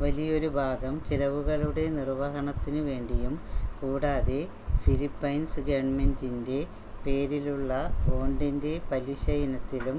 വലിയൊരു ഭാഗം ചിലവുകളുടെ നിർവ്വഹണത്തിനുവേണ്ടിയും കൂടാതെ ഫിലിപ്പൈൻസ് ഗവൺമെന്റിന്റെ പേരിലുള്ള ബോണ്ടിന്റെ പലിശയിനത്തിലും